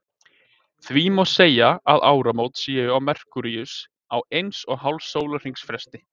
Því má segja að áramót séu á Merkúríusi á eins og hálfs sólarhrings fresti.